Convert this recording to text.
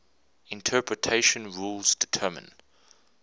interpretation rules determine